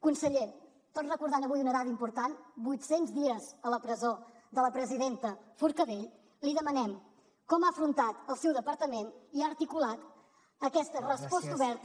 conseller tot recordant avui una dada important vuit cents dies a la presó de la presidenta forcadell li demanem com ha afrontat el seu departament i ha articulat aquesta resposta oberta